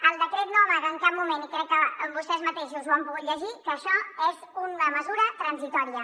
el decret no amaga en cap moment i crec que vostès mateixos ho han pogut llegir que això és una mesura transitòria